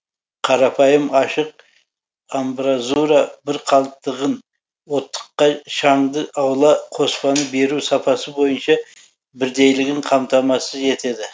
қарапайым ашық амбразура бір қалыптығын оттыққа шаңды аула қоспаны беру сапасы бойынша бірдейлігін қамтамасыз етеді